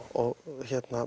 og